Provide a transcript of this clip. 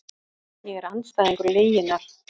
Ég er andstæðingur lyginnar.